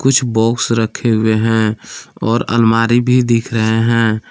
कुछ बॉक्स रखे हुए हैं और अलमारी भी दिख रहे हैं।